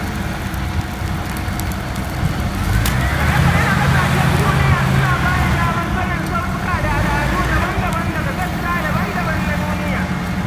Kaɗe-kaɗe na ƙasashen duniya suna ba ni damar sanin sautuka da al’adu daban-daban daga sassa daban-daban na duniya.